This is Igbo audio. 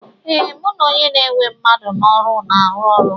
Ee, mụ na onye na-ewe mmadụ n'ọrụ na-arụ ọrụ.